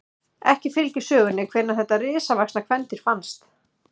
Ekki fylgir sögunni hvenær þetta risavaxna kvendýr fannst.